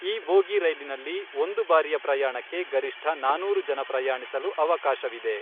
ಈ ಬೋಗಿ ರೈಲಿನಲ್ಲಿ ಒಂದು ಬಾರಿಯ ಪ್ರಯಾಣಕ್ಕೆ ಗರಿಷ್ಠ ನಾನೂರು ಜನ ಪ್ರಯಾಣಿಸಲು ಅವಕಾಶವಿದೆ.